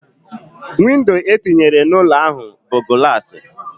Windo etinyere n'ụlọ ahu bu gulasi